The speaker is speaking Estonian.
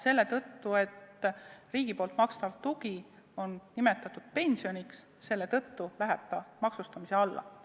Selle tõttu, et riigi makstav tugi on nimetatud pensioniks, läheb ta maksustamise alla.